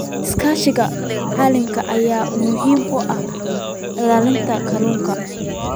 Iskaashiga caalamiga ah ayaa muhiim u ah ilaalinta kalluunka.